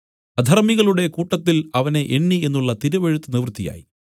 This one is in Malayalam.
അധർമ്മികളുടെ കൂട്ടത്തിൽ അവനെ എണ്ണി എന്നുള്ള തിരുവെഴുത്ത് നിവൃത്തിയായി